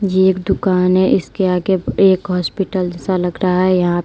ये एक दुकान है इसके आगे एक हॉस्पिटल जैसा लग रहा है। यहां --